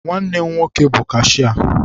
Nwanne m nwoke bụ kashịa.